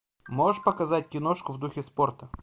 можешь показать киношку в духе спорта